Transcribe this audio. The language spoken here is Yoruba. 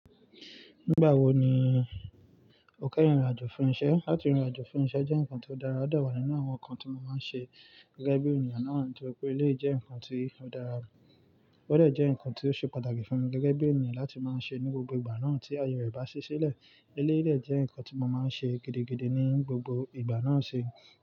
Nígbà wo ni o kẹ́yin rìn irin àjò fún iṣẹ́? Látì ìrìn àjò fún iṣẹ́ jẹ́ nǹkan tó dára, ó dà wá nínú àwọn nǹkan tí mo máa ń ṣe gẹ́gẹ́ bí ènìyàn náà, torípé eléyi jẹ́ nǹkan tí ó dára, o dẹ̀ jẹ́ nǹkan tí ó ṣe pàtàkì fún mi gẹ́gẹ́ bí ènìyàn láti máa ń ṣe ní gbogbo ìgbà náà tí aye rẹ̀ bá ṣiṣẹ́ lẹ̀. Eléyìí jẹ́ nǹkan tí mo máa ń ṣe gidigidi ní gbogbo ìgbà náà ṣé.